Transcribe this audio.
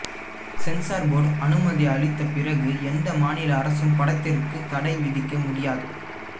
sensor board அனுமதி அளித்த பிறகு எந்த மாநில அரசும் படத்திற்கு தடை விதிக்க முடியாது